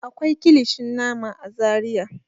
Akwai kilishin nama a Zariya.